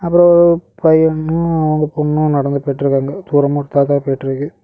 அப்பறம் பையனு ஒரு பொண்ணு நடந்து போய்ட்டுருக்காங்க. தூரமா காக்கா போய்ட்டுருக்கு.